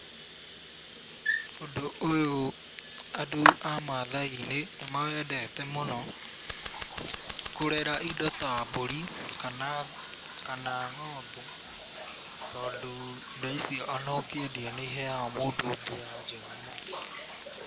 Ũndũ ũyũ andũ a Maathai-inĩ nĩ mawendete mũno, kũrera indo ta mbũri kana ng'ombe tondũ indo ici ona ũkĩendia nĩ iheaga mũndũ mbia njega mũno.